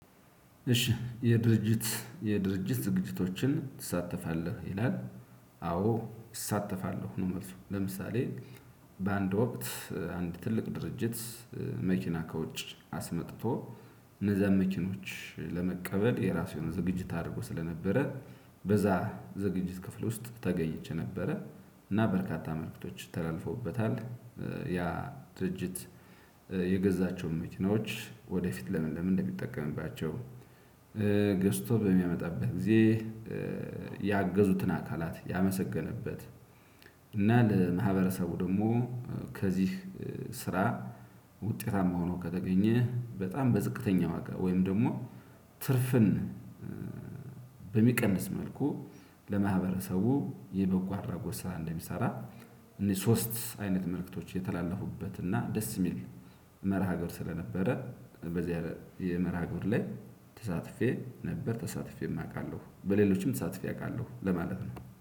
እሺ የድርጅት የድርጅት ዝግጅቶችን ትሳተፋለህ? ይላል አዎ እሳተፋለሁ። ነው መልሱ ለምሳሌ በአንድ ወቅት አንድ ትልቅ ድርጅት መኪና ከውጭ አስመጥቶ እነዛን መኪኖች ለመቀበል የራሱ የሆነ ዝግጅት አድርጎ ስለነበረ በዛ ዝግጅት ክፍል ውስጥ ተገኝቸ ነበረ። እና በርካታ መልእክቶች ተላልፈውበታል። ያ ድርጅት የገዛቸውን መኪናዎች ወደፊት ለምን ለምን እንደሚጠቀምባቸው ገዝቶ በሚያመጣበት ጊዜ ያገዙትን አካላት ያመሰገነበት እና ለማህበረሰቡ ደግሞ ከዚህ ስራ ውጤታማ ሆኖ ከተገኘ በጣም በዝቅተኛ ወጋ ወይም ደግሞ ትርፍን በሚቀንስ መልኩ ለማህበረሰቡ የበጎ አድራጎት ስራ እንደሚሰራ እነዚህ ሶስት አይነት መልእክቶች የተላለፉበት እና ደስ የሚል መርሃ ግብር ስለነበረ በዚህ ያለ የመርሃ ግብር ላይ ተሳትፌ ነበር፤ ተሳትፌም አውቃለሁ። በሌሎችም ተሳትፌ አውቃለሁ ለማለት ነው።